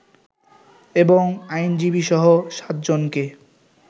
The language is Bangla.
এবং আইনজীবীসহ সাতজনকে